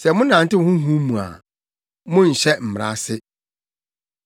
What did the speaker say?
Sɛ monantew Honhom mu a, na monnhyɛ Mmara ase.